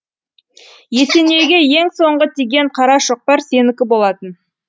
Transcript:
есенейге ең соңғы тиген қара шоқпар сенікі болатын